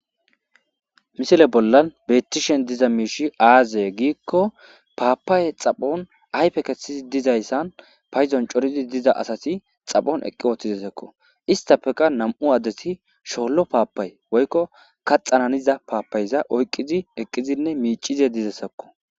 missile bollan beettishen diza miishshi azee giikko papaye xaphphon ayfe keththidi dizayssan payddon coridi diza asati xaphon eqqi wooththidesakko isttafekka nam'u addeti shollo papay woykko kaxana haniza papayza oyqqidi eqqidinne miicishshe dizayssakko